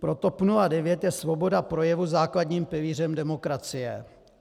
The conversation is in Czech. Pro TOP 09 je svoboda projevu základním pilířem demokracie.